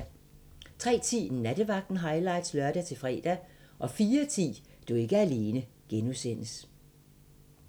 03:10: Nattevagten highlights (lør-fre) 04:10: Du er ikke alene (G)